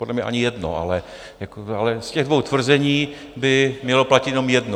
Podle mě ani jedno, ale z těch dvou tvrzení by mělo platit jenom jedno.